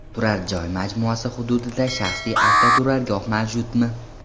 Turar joy majmuasi hududida shaxsiy avtoturargoh mavjudmi?